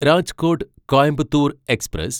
Rajkot Coimbatore express